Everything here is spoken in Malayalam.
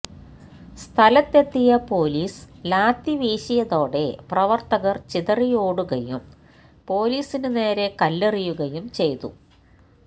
സ്ഥലത്തെത്തിയ പോലീസ് ലാത്തിവീശിയതോടെ പ്രവർത്തകർ ചിതറിയോടുകയും പോലീസിന് നേരെ കല്ലെറിയുകയും ചെയ്തു